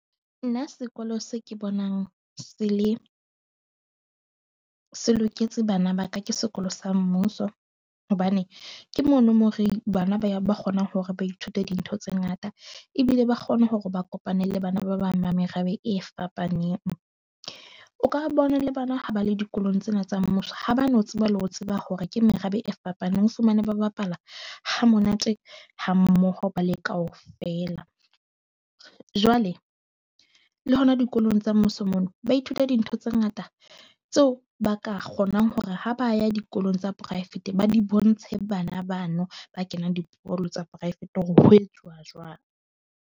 Nna sekolo se ke bonang se le se loketse bana ba ka, ke sekolo sa mmuso, hobane ke mono moo reng bana ba kgonang hore ba ithute dintho tse ngata. Ebile ba kgone hore ba kopane le bana ba bang ba merabe e fapaneng. O ka re bona le bona ha ba le dikolong tsena tsa mmuso, ha ba no tseba le ho tseba hore ke merabe e fapaneng. O fumane ba bapala ha monate ha mmoho ba le kaofela. Jwale le hona dikolong tsa mmuso mono, ba ithuta dintho tse ngata tseo ba ka kgonang hore ha ba ya dikolong tsa poraefete, ba di bontshe bana bano ba kenang dikolo tsa poraefete hore ho etsuwa jwang.